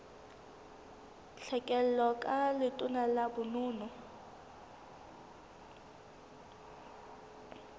tlhekelo ka letona la bonono